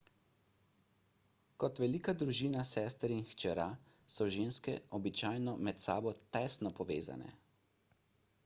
kot velika družina sester in hčera so ženske običajno med sabo tesno povezane